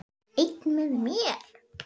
Ein með mér.